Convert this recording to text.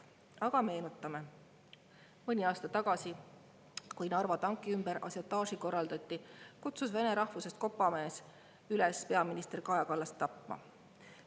Aga meenutame: mõni aasta tagasi, kui Narva tanki ümber ažiotaaži korraldati, kutsus vene rahvusest kopamees üles peaminister Kaja Kallast tapma.